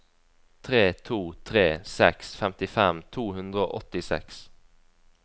tre to tre seks femtifem to hundre og åttiseks